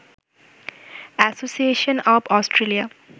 association of Australia